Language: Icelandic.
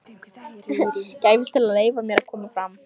gæfist til að leyfa mér að koma fram.